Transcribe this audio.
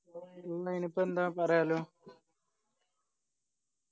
അയിനി ഇപ്പൊ എന്താ പറയാലോ